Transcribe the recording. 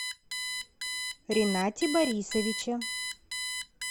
ренате борисовиче